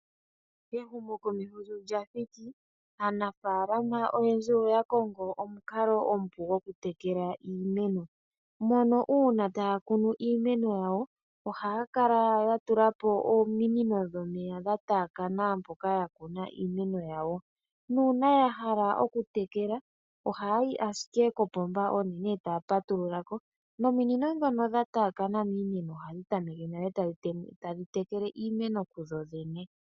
Ehumokomeho sholyathiki aanafaalama oyendji oya kongo omukalo gokutekela iimeno. Mono uuna taya kunu iimeno yawo ohaya kala yatulapo ominino dhomeya dhataagakana iipungu. Uuna yahala okutekela ohaya yi ashike kopomba onene etaya patululako. Ominino ndhono dhataagakana miimeno ohadhi tameke nale tadhi tekele iimeno kudhodhene.